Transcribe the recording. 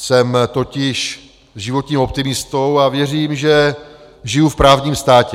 Jsem totiž životním optimistou a věřím, že žiju v právním státě.